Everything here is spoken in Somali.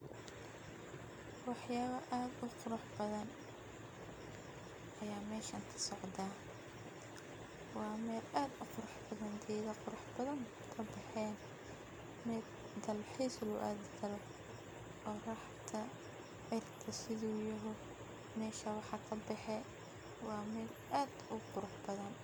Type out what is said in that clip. Waxyaba aad u qurux badan ayaa meshan ka socdan , waa mel aad u qurux badan , geda aad uu qurux badan aya mesha kabehen waa mel dalxis loo adhi karo oraxda waa meshan waxa kabehe waa mel aad u qurux badan.